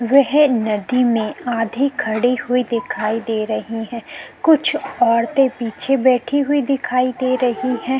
वह नदी में आधी खडी हुई दिखाई दे रही है कुछ औरतें पीछे बैठी हुई दिखाई दे रही है।